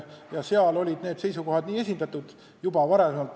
Nii et seal olid need seisukohad juba esindatud.